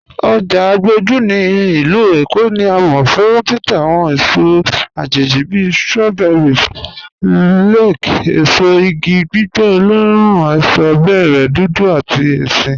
Ojá Àgbójú ní ilù Èkó ni à mọ̀ fún títà awọn èsò àjẹjì bí strawberries, leek, èsò ìgì gbígbẹ̀ oloorùn, èsò bẹ̀rẹ̀ dúdú àti èṣin.